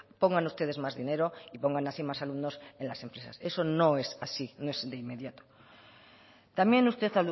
pongan ustedes más dinero y pongan así más alumnos en las empresas eso no es así no es de inmediato también usted